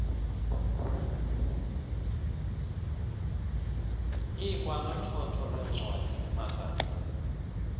likwanothotho lweencwadi iimagazini